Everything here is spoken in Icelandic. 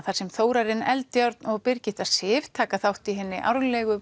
þar sem Þórarinn Eldjárn og Birgitta Sif taka þátt í hinni árlega